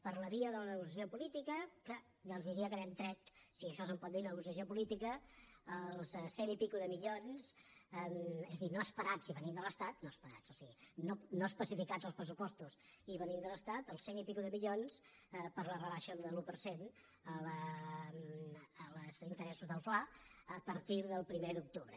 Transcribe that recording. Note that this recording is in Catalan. per la via de la negociació política és clar doncs diria que n’hem tret si a això se’n pot dir negociació política els cent i escaig de milions és a dir no esperats si venien de l’estat no esperats o sigui no especificats als pressupostos i venint de l’estat els cent i escaig de milions per la rebaixa de l’un per cent als interessos del fla a partir del primer d’octubre